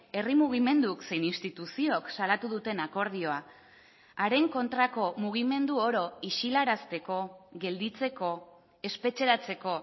herri mugimenduk zein instituziok salatu duten akordioa haren kontrako mugimendu oro isilarazteko gelditzeko espetxeratzeko